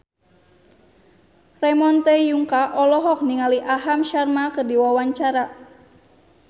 Ramon T. Yungka olohok ningali Aham Sharma keur diwawancara